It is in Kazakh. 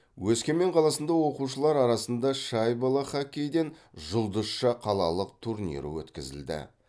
өскемен қаласында оқушылар арасында шайбалы хоккейден жұлдызша қалалық турнирі өткізілді